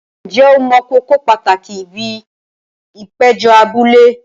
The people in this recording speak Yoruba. Ǹjẹ́ o mọ kókó pàtàkì ibi ìpéjọ abúlé?